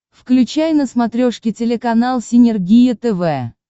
включай на смотрешке телеканал синергия тв